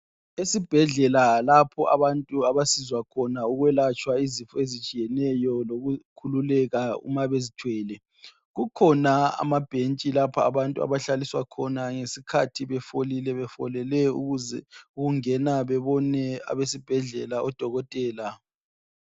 Esibhedlela lapho abantu abasizwa khona ukwelatshwa izifo ezitshiyeneyo lokukhululeka uma bezithwele. Kukhona amabhentshi lapha abantu abahlaliswa khona ngesikhathi befolile befolele ukuz ukungena bebone abesibhedlela odokotela.